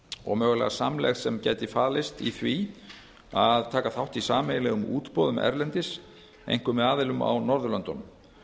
og mögulega samlegð sem gæti falist í því að taka þátt í sameiginlegum útboðum erlendis einkum með aðilum á norðurlöndunum